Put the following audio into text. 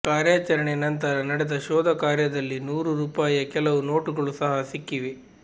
ಕಾರ್ಯಾಚರಣೆ ನಂತರ ನಡೆದ ಶೋಧ ಕಾರ್ಯದಲ್ಲಿ ನೂರು ರೂಪಾಯಿಯ ಕೆಲವು ನೋಟುಗಳು ಸಹ ಸಿಕ್ಕಿವೆ